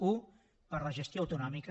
u per la gestió autonòmica